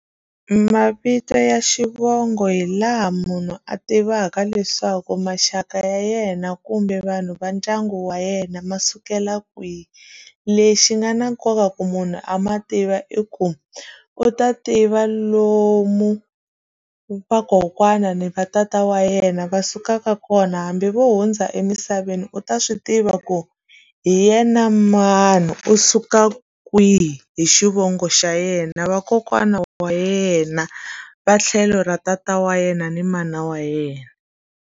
Mavito ya xivongo hi laha munhu a tivaka leswaku maxaka ya yena kumbe vanhu va ndyangu wa yena ma sukela kwihi lexi nga na nkoka ku munhu a ma tiva i ku u ta tiva lomu vakokwana ni va tata wa yena va sukaka kona hambi vo hundza emisaveni u ta swi tiva ku hi yena mani u suka kwihi hi xivongo xa yena vakokwana wa yena va tlhelo ra tata wa yena ni mana wa yena.